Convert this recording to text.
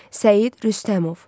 Səid Rüstəmov.